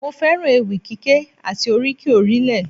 Mo fẹ́ràn ewì kíké àti oríkì orílẹ̀